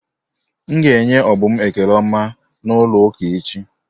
M ga enye Obum ekele ọma n'ụlọ ụka echi.